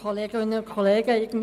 Kommissionssprecherin der FiKo.